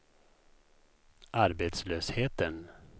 arbetslösheten